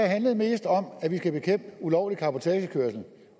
handlede mest om at vi skal bekæmpe ulovlig cabotagekørsel